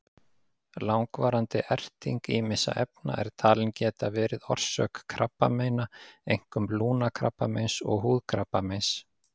Langvarandi erting ýmissa efna er talin geta verið orsök krabbameina, einkum lungnakrabbameins og húðkrabbameins.